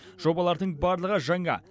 жобалардың барлығы жаңа